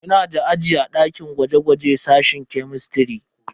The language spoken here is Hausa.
Muna da aji a dakin gwaje-gwaje sashen kemistiri.